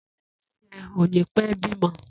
Éwùrẹ̀ yèn ó nipè bimọ